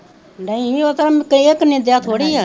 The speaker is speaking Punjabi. ਨਹੀਂ ਉਹ ਤਾਂ ਨਿਦਿਆ ਥੋੜ੍ਹੀ ਆ